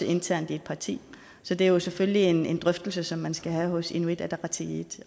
internt i et parti så det er jo selvfølgelig en en drøftelse som man skal have hos inuit ataqatigiit